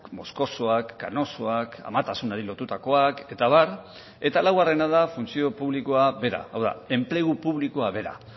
moskosoak kanosoak amatasunari lotutakoak eta abar eta laugarrena da funtzio publikoa bera hau da enplegu publikoa bera